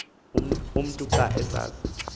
umntu xa aza